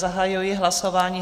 Zahajuji hlasování.